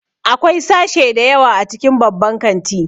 Akwai sashe da yawa a cikin babban kanti